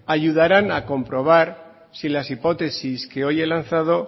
ayudaran a comprobar si las hipótesis que hoy he lanzado